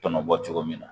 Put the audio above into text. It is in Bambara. Tɔnɔ bɔ cogo min na